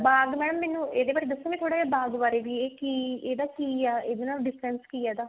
ਬਾਗ madam ਮੈਨੂੰ ਇਹਦੇ ਬਾਰੇ ਦੱਸੋਗੇ ਥੋੜਾ ਜਾ ਬਾਗ ਵਾਰੇ ਵੀ ਇਹ ਕੀ ਇਹਦਾ ਕੀ ਆ ਇਹਦੇ ਨਾਲ difference ਕੀ ਆ ਇਹਦਾ